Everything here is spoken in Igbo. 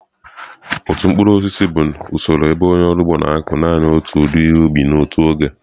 Otu mkpụrụ osisi bụ usoro ebe onye ọrụ ugbo na-akụ naanị otu ụdị ihe ubi n'otu oge.